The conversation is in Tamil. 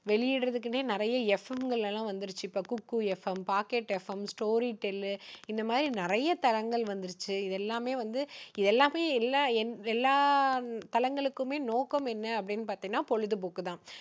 வெளியிடுவதற்குன்னே இப்போ நிறைய FM கள் எல்லாம் வந்திருச்சு. Kuku FM pocket FM story tell இந்த மாதிரி நிறைய தளங்கள் வந்துடுச்சு. இது எல்லாமே வந்து எல்லாமே எல்ல~எல்லா தளங்களுக்குமே நோக்கம் என்ன அப்படின்னு பார்த்தீங்கன்னா பொழுதுபோக்கு தான்.